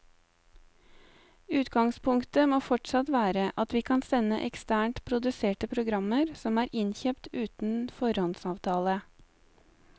Utgangspunktet må fortsatt være at vi kan sende eksternt produserte programmer som er innkjøpt uten foråndsavtale.